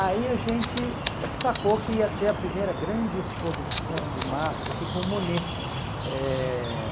Aí a gente sacou que ia ter a primeira grande exposição do MASP aqui com o Monet. Eh